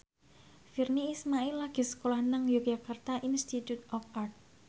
Virnie Ismail lagi sekolah nang Yogyakarta Institute of Art